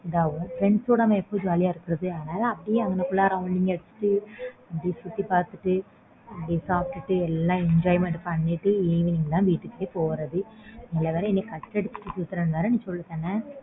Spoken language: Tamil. friends கூட எப்ப நம்ம jolly யா இருக்குறது அதனால அப்பிடியே அங்க rounding அடிச்சிட்டு அப்பிடியே சுத்தி பாத்துட்டு அங்கேயே சாப்டுட்டு